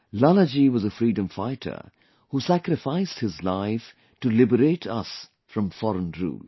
Lala ji was a freedom fighter, who sacrificed his life to liberate us from foreign rule